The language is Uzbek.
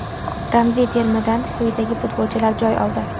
Ramziy termadan quyidagi futbolchilar joy oldi.